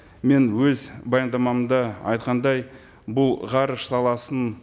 мен өз баяндамамда айтқандай бұл ғарыш саласын